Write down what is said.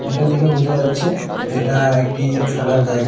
এটা দেখে বোঝা যাচ্ছে এটা একটি খেলার জায়গা।